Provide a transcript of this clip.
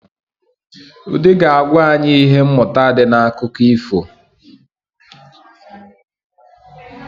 Ụde ga-agwa anyị ihe mmụta di n’akụkọ ifo